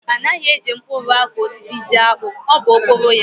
Anaghị e ji mkpụrụ akụ osisi jiakpụ, ọ bụ okporo ya.